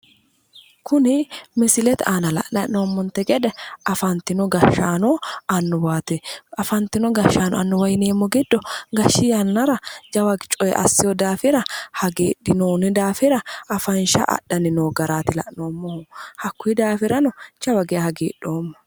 Kuni misilete aana la'nayi hee'noommonte gede afantino gashshaano annuwaati afantino gashshaano annuwa yineemmori giddo gashshi yannara jawa coye assino daafira afansha adhanni no yaate hakkuyi daafira jawa geeshsha hagidhoomma.